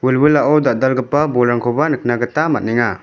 wilwilao dal·dalgipa bolrangkoba nikna gita man·enga.